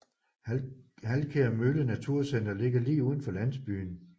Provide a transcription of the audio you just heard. Halkær Mølle Naturcenter ligger lige uden for landsbyen